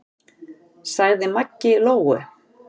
sagði Maggi Lóu.